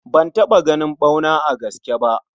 Ban taɓa ganin ɓauna a gaske bah.